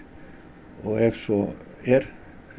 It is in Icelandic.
ef svo er